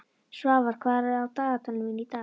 Svafar, hvað er á dagatalinu mínu í dag?